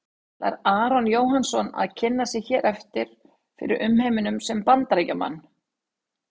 Ætlar Aron Jóhannsson að kynna sig hér eftir fyrir umheiminum sem Bandaríkjamann?